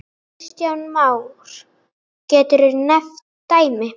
Kristján Már: Geturðu nefnt dæmi?